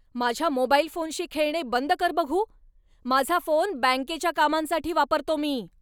माझ्या मोबाईल फोनशी खेळणे बंद कर बघू. माझा फोन बँकेच्या कामांसाठी वापरतो मी.